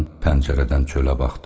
Qadın pəncərədən çölə baxdı.